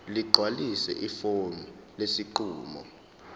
ligcwalise ifomu lesinqumo